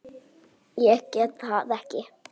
Ég get það ekki